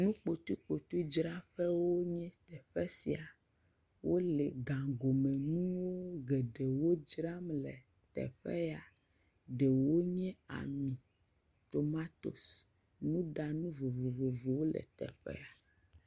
Nukpotɔkpote dzra ƒee nye teƒe sia. Wole gagɔme nuwo geɖewo dzram le teƒe ya, ɖewo nye ami, tomatos, nuɖanu vovovowo le teƒe ya.